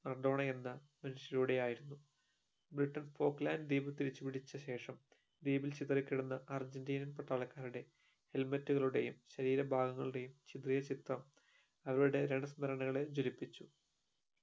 Maradona എന്ന മനുഷ്യനുലൂടെയായിരുന്നു Britain പോപ്പ് land ദ്വീപ് തിരിച്ചുപിടിച്ച ശേഷം ദ്വീപിൽ ചിതറി കിടന്ന അർജന്റീനിയൻ പട്ടാളക്കാരുടെ Helmet കളുടെയും ശരീര ഭാഗങ്ങളുടെയും ചിതറിയ ചിത്രം അവരുടെ സ്മരണകളെ ജ്വലിപ്പിച്ചു